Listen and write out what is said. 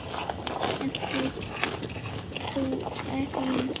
Ert þú Elín?